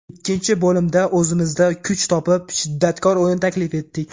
Ikkinchi bo‘limda o‘zimizda kuch topib, shiddatkor o‘yin taklif etdik.